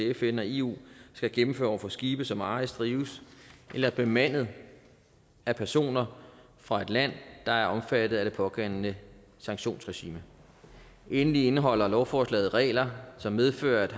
fn og eu skal gennemføre over for skibe som ejes drives eller er bemandet af personer fra et land der er omfattet af det pågældende sanktionsregime endelig indeholder lovforslaget regler som medfører at